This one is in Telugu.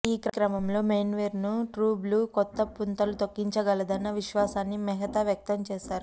ఈ క్రమంలో మెన్స్వేర్ను ట్రూ బ్లూ కొత్త పుంతలు తొక్కించగలదన్న విశ్వాసాన్ని మెహతా వ్యక్తం చేశారు